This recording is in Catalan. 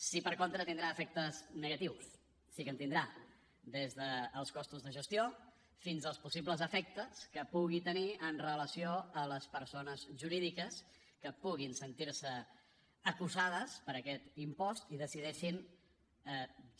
sí que per contra tindrà efectes negatius sí que en tindrà des dels costos de gestió fins als possibles efectes que pugui tenir amb relació a les persones jurídiques que puguin sentir se assetjades per aquest impost i decideixin